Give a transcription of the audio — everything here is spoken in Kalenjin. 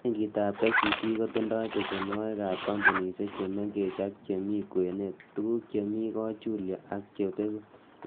Benkitab KCB kotindoi besenwogik ab kompunisiek che mengech ak chemi kwenet, tuguk chemi kochulyo ak chebeegu,